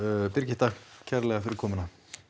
Birgitta kærlega fyrir komuna